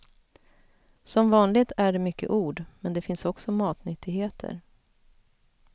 Som vanligt är det mycket ord, men det finns också matnyttigheter.